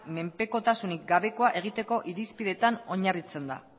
menpekotasunik gabekoa egiteko irizpideetan oinarritzen da